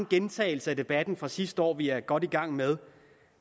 gentagelse af debatten fra sidste år vi er godt i gang med